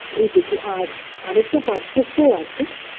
এইটুকু আর আরেকটা পার্থক্য ও আছে